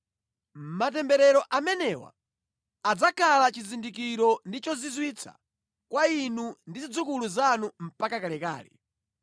Matemberero amenewa adzakhala chizindikiro ndi chozizwitsa kwa inu ndi zidzukulu zanu mpaka kalekale.